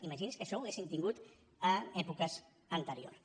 imaginin se que això ho haguéssim tingut èpoques anteriors